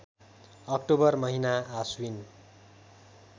October महिना आश्विन